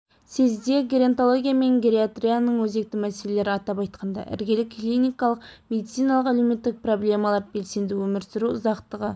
съезде геронтология мен гериатрияның өзекті мәселелері атап айтқанда іргелі клиникалық медициналық-әлеуметтік проблемалар белсенді өмір сүру ұзақтығы